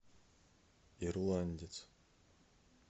ирландец